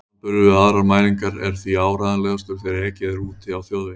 Samanburður við aðrar mælingar er því áreiðanlegastur þegar ekið er úti á þjóðvegi.